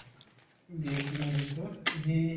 VIP movies তো সি